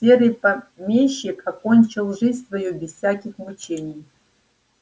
серый помещик окончил жизнь свою без всяких мучений